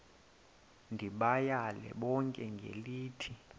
ndibayale bonke ngelithi